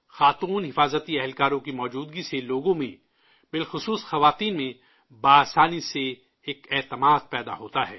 خواتین security guards کی موجودگی سے لوگوں میں، خاص کر عورتوں میں فطری طور پر ایک اعتماد پیدا ہوتا ہے